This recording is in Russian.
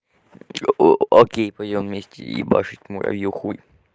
окей пойдём вместе ебашить муравьёв хуй